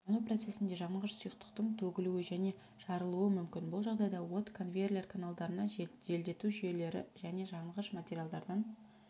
жану процесінде жанғыш сұйықтықтың төгілуі және жарылуы мүмкін бұл жағдайда от конвейер каналдарына желдету жүйелері және жанғыш материалдардан